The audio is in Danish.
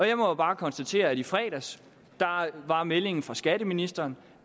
jeg må bare konstatere at i fredags var meldingen fra skatteministeren